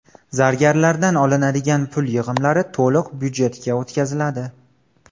Zargarlardan olinadigan pul yig‘imlari to‘liq byudjetga o‘tkaziladi.